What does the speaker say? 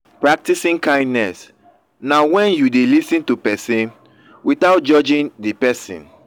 practicing kindness na when you de lis ten to persin without judging di persin